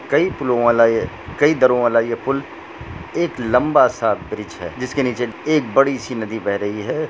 कई एक लंबा सा ब्रिज है जिस के नीचे एक बड़ी सी नदी बह रही है।